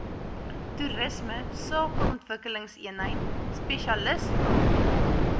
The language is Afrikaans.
toerisme sakeontwikkelingseenheid spesialisraad